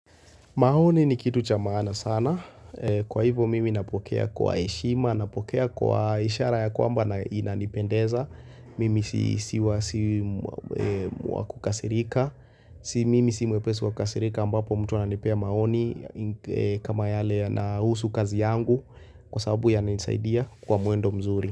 Maoni ni kitu cha maana sana. Kwa hivyo mimi napokea kwa heshima, napokea kwa ishara ya kwamba inanipendeza. Mimi si wa kukasirika. Mimi si mwepesi wa kukasirika ambapo mtu ananipea maoni kama yale yanahusu kazi yangu kwa sababu yananisaidia kwa mwendo mzuri.